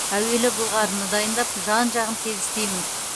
әуелі былғарыны дайындап жан жағын тегістеймін